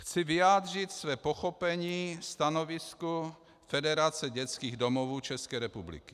Chci vyjádřit své pochopení stanovisku Federace dětských domovů České republiky.